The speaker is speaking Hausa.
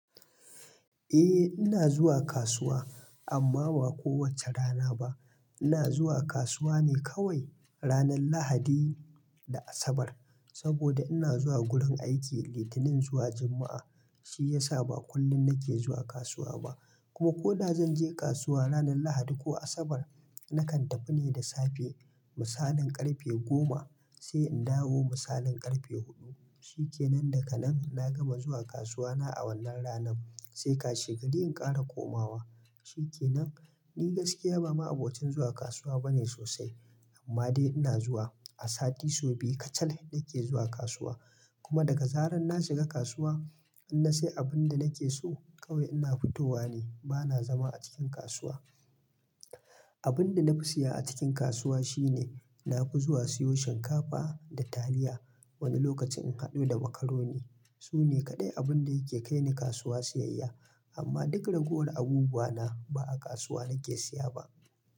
Eh ina zuwa kasuwa amma ba kowace rana ba. Ina zuwa kasuwa ne kawai ranar Lahadi da Asabar saboda ina zuwa gurin aiki Litinin zuwa Juma'a. Shi ya sa ba kullum nake zuwa kasuwa ba. Kuma ko da zan je kasuwa ranar Lahadi ko Asabar, nakan tafi ne da safe misalin karfe goma sai in dawo misalin karfe huɗu. Shi ke nan daga nan na gama zuwa kasuwa na a wannan ranan sai ka shagari in ƙara komawa. Shi ke nan ni gaskiya ba ma abokin zuwa kasuwa bane sosai amma dai ina zuwa. A sati sau biyu kacal nake zuwa kasuwa. Kuma daga zaran na shiga kasuwa, in na siye abun da nake so kawai ina fitowa ne. Ba na zama a cikin kasuwa. Abun da na fi siya a cikin kasuwa shine na fi zuwa siyo shinkafa da taliya. Wani lokacin in haɗu da makaroni. Su ne kaɗai abun da yake kai ni kasuwa siyayya. Amma duk ragowar abubuwa na ba a kasuwa nake siya ba.